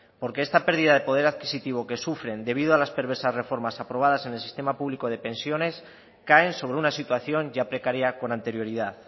porque esta pérdida de poder adquisitivo que sufren debido a las perversas reformas aprobadas en el sistema público de pensiones caen sobre una situación ya precaria con anterioridad